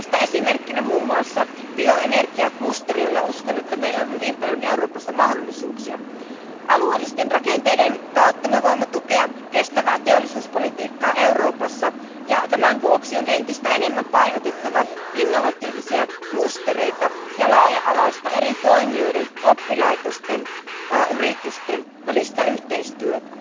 Tästä esimerkkinä esimerkiksi bioenergiaklusteri, jolla meillä on uskoakseni hyvin paljon Euroopassa mahdollisuuksia. Alueellisten rakenteiden kautta voimme tukea kestävää teollisuuspolitiikkaa Euroopassa, ja tämän vuoksi on entistä enemmän painotettava innovatiivisia klustereita ja laaja alaista eri toimijoiden, oppilaitosten ja yritysten välistä yhteistyötä.